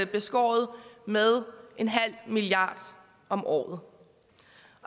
beskåret med en halv milliard om året